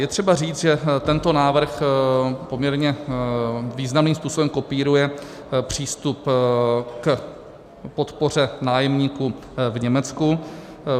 Je třeba říct, že tento návrh poměrně významným způsobem kopíruje přístup k podpoře nájemníků v Německu.